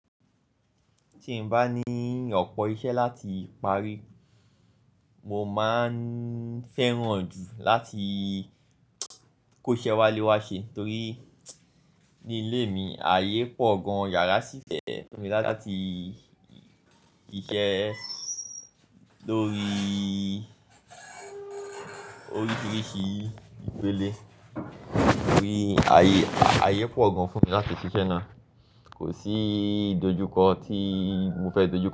Tí n bá ní ọ̀pọ̀ iṣẹ́ láti parí, mo máa ń fẹ́ràn jù láti kóṣẹ wálé wá ṣe torií ni ilé mi, ààyè pọ̀ gan iyàrá sí fẹ fún mi láti ṣiṣẹ́ lóríi oríṣiríṣi ìpele. Nítorí ààyè, ààyè pọ̀ gan fún mi láti ṣiṣẹ́ náà. Kò sí idojúkọ tií mo fẹ́ dojú.